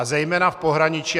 A zejména v pohraničí.